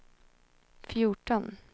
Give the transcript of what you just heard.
fjorton